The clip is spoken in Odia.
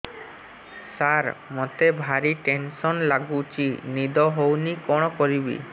ସାର ମତେ ଭାରି ଟେନ୍ସନ୍ ଲାଗୁଚି ନିଦ ହଉନି କଣ କରିବି